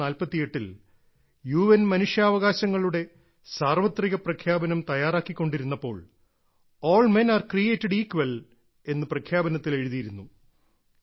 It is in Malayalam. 194748ൽ യുഎൻ മനുഷ്യാവകാശങ്ങളുടെ സാർവത്രിക പ്രഖ്യാപനം തയ്യാറാക്കിക്കൊണ്ടിരുന്നപ്പോൾ all men are created equal എന്ന് പ്രഖ്യാപനത്തിൽ എഴുതിയിരുന്നു